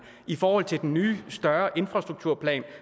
i forhold til den nye større infrastrukturplan